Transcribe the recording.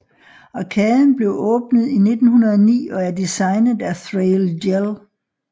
Arkaden blev åbnet i 1909 og er designet af Thrale Jell